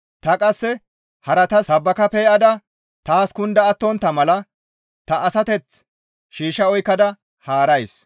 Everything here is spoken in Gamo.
Ta qasse haratas sabbaka pe7ada taas kunda attontta mala ta asateth shiishsha oykkada haarays.